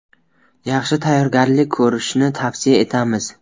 Yaxshi tayyorgarlik ko‘rishni tavsiya etamiz.